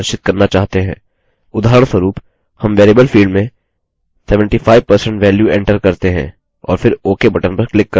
उदाहरणस्वरूप हम variable field में 75% value enter करते हैं और फिर ok button पर click करते हैं